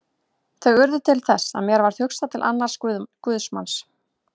Þau urðu til þess að mér varð hugsað til annars guðsmanns.